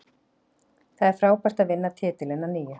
Það er frábært að vinna titilinn að nýju.